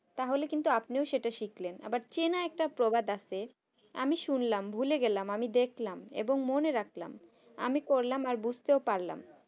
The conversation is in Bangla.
তাহলে কিন্তু আপনিও এটাই শিখলেন চেনা একটা প্রবাদ আছে আমি শুনলাম আমি ভুলে গেলাম আমি দেখলাম এবং মনে রাখলাম আমি করলাম এবং বুঝতেও পারলাম না।